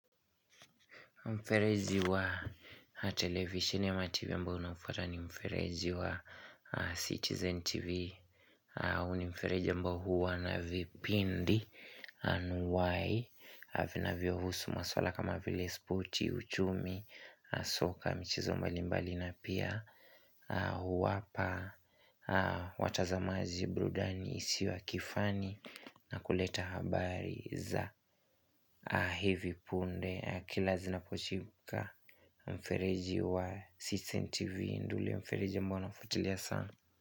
Mferezi wa televisheni ama tivi ambao naufata ni mferezi wa Citizen TV huu ni mfereji ambao huwa na vipindi anuwai vinavyo husu maswala kama vile spoti, uchumi, soka, michezo mbalimbali na pia huwapa watazamaji burudani isiyo ya kifani na kuleta habari za hivi punde Kila zinapochipuka mfereji wa CITIZEN TV ndo ule mfereji ambao nafuatilia sana.